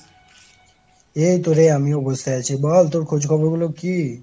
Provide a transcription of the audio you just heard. এই তো রে আমিও বসে আছ। বল তোর খোঁজ খবর গুলো কি?